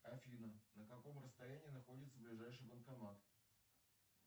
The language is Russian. афина на каком расстоянии находится ближайший банкомат